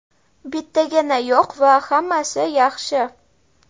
Bittagina yo‘q va hammasi yaxshi.